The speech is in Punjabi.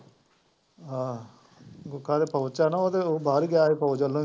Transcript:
ਹਾਂ ਮੁੱਖਾ ਤਾਂ ਫੌਜ਼ ਆ ਨਾ, ਉਹਦੇ ਉਹ ਬਾਹਰ ਗਿਆ ਸੀ ਫੌਜ਼ ਵੱਲੋਂ ਹੀ